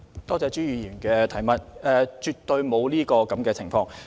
多謝朱議員的補充質詢，絕對沒有這種情況。